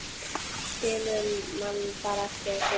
Skilur mann bara eftir, þessi.